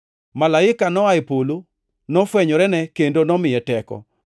Malaika noa e polo nofwenyorene kendo nomiye teko.